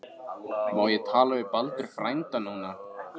Má ég tala við Baldur frænda núna?